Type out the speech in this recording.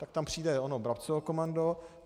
Tak tam přijde ono Brabcovo komando.